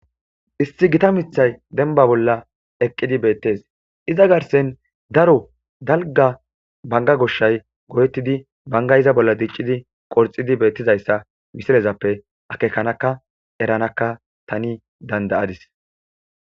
Isti gita mithay denba bolla eqqidi beettes iza garsen daro dalga banga goshshay go7ettidi bangayiza bolla diccidi qorxidi beettizayssa misilezappe akekanaka eranakka tani dandayadis.